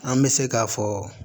An bɛ se k'a fɔ